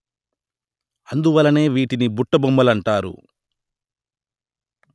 అందువలననే వీటిని బుట్టబొమ్మలంటారు